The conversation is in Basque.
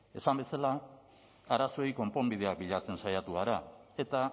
esan bezala arazoei konponbideak bilatzen saiatu gara eta